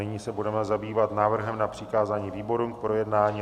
Nyní se budeme zabývat návrhem na přikázání výborům k projednání.